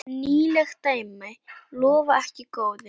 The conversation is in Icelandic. Nýleg dæmi lofa ekki góðu.